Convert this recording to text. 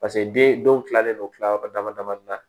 Paseke den dɔw kilalen don kila yɔrɔ dama damanin na